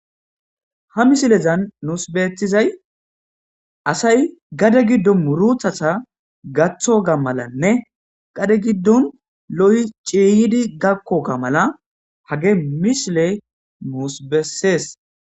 Ha missilezan nus beettizay asay gaadde gidon muratata gaththiyoga malanne gade gidon lo'i ciyidi gakkoga malla hagey missileyi nus beses